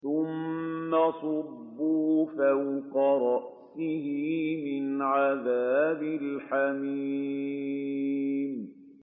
ثُمَّ صُبُّوا فَوْقَ رَأْسِهِ مِنْ عَذَابِ الْحَمِيمِ